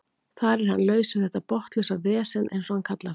Þar er hann laus við þetta botnlausa vesen eins og hann kallar það.